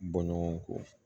Bɔ ɲɔgɔn kɔ